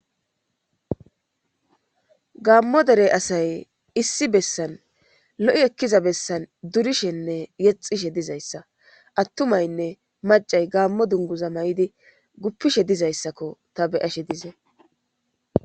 gaammo derey asay issi bessan lo7i ekkiza bessan durishenne yexishe dizayssa attumaynne macay gaammo dunguza ma7idi guppishe dizayssakko ta beyashe dize